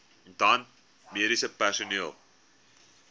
dan mediese personeel